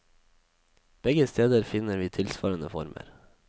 Begge steder finner vi tilsvarende former.